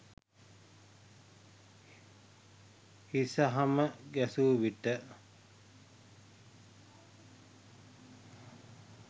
හිස හම ගැසු විට